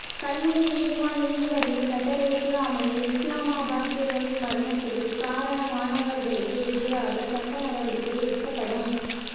கல்முனை நீதிவான் நீதிபதியின் கட்டளைக்கு அமைய இஸ்லாமாபாத் சிறுவனின் மரணத்துக்கு காரணமானவர்களுக்கு எதிராக சட்ட நடவடிக்கை எடுக்கப் படும்